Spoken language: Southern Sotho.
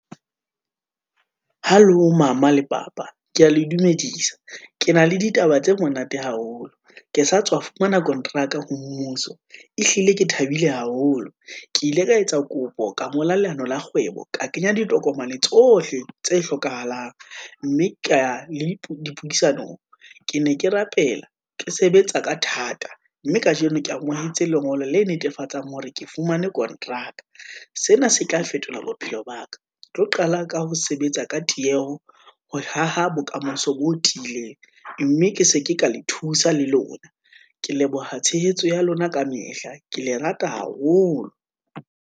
Halo mama le papa, ke ya le dumedisa, ke na le ditaba tse monate haholo, ke sa tswa fumana kontraka ho mmuso, ehlile ke thabile haholo. Ke ile ka etsa kopo ka ngola leano la kgwebo, ka kenya ditokomane tsohle tse hlokahalang, mme ke ya le dipuisanong. Ke ne ke rapela, ke sebetsa ka thata, mme kajeno ke amohetse lengolo le netefatsang hore ke fumane kontraka, sena se tla fetola bophelo ba ka. Ke tlo qala ka ho sebetsa ka tieho, ho haha bokamoso bo tiileng, mme ke se ke ka le thusa le lona. Ke leboha tshehetso ya lona kamehla, ke le rata haholo.